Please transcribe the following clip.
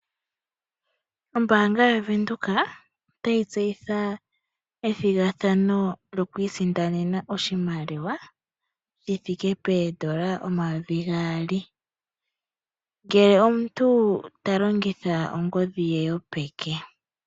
Ombanga yo Venduka otayi tseyitha ethigathano lyokwiisindanena oshimaliwa shithike N$2000 ngele omuntu talongitha ongodhi ye yopeke.